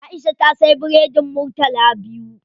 Aisha ta siya biredin murtala biyu.